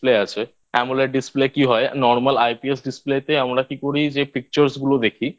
আছে Amoled Display কি হয় Normal IPS Display তে আমরা কি করি যে Pictures গুলো দেখি